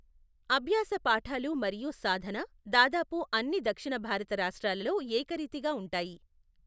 అభ్యాస పాఠాలు మరియు సాధన, దాదాపు అన్ని దక్షిణ భారత రాష్ట్రాలలో ఏకరీతిగా ఉంటాయి.